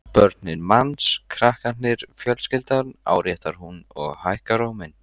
Börnin manns, krakkarnir, fjölskyldan, áréttar hún og hækkar róminn.